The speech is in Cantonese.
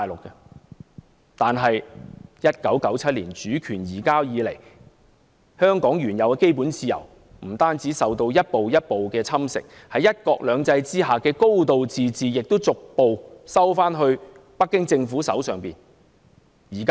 不過，自1997年主權移交以來，香港原有的基本自由，不單受到一步一步的侵蝕，在"一國兩制"下的"高度自治"亦逐步收緊，掌握在北京政府的手上。